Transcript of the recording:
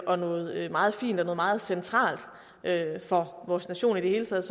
og noget meget fint og meget centralt for vores nation i det hele taget